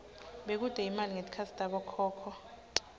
bekute imali ngetikhatsi tabokhokho